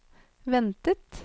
ventet